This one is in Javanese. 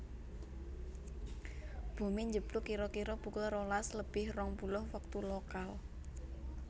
Bomé njeblug kira kira pukul rolas lebih rong puluh wektu lokal